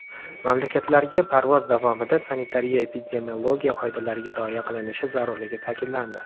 Mamlakatlarga parvoz davomida sanitariya- epidemiologiya qoidalariga rioya qilinishi zarurligi ta’kidlandi.